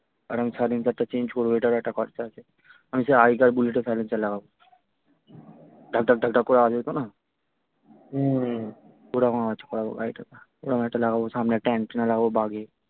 আর আমি silencer টা change করবো ওইটারও একটা খরচা আছে আমি সেই আগেকার বুলেটের silencer লাগাব ঢাক ঢাক করে আওয়াজ হত না হম ওরকম আওয়াজ করাবো গাড়িটার ওরম একটা লাগাব সামনে একটা antenna লাগাব বাঘীর